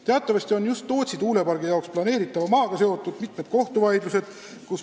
Teatavasti on just Tootsi tuulepargi jaoks planeeritava maaga seotud mitmed kohtuvaidlused.